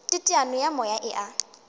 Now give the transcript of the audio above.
teteano ya moya e a